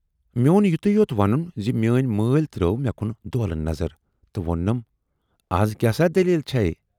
"میون یِتُے یوت وونُن زِ میٲنۍ مٲلۍ ترٲو مے کُن دولہٕ نظر تہٕ ووننَم"اَز کیاہ سٲ دٔلیٖل چھے؟